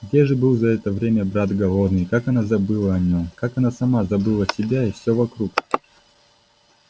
где же был за это время брат голодный и как она забыла о нем как она сама забыла себя и все вокруг